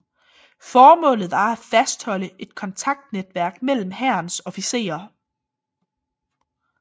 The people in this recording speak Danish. Formålet var at fastholde et kontaktnetværk mellem Hærens officerer